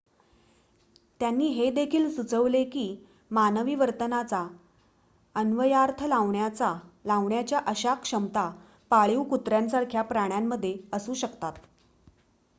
त्यांनी हे देखील सुचविले की मानवी वर्तनाचा अन्वयार्थ लावण्याच्या अशा क्षमता पाळीव कुत्र्यांसारख्या प्राण्यांमध्ये असू शकतात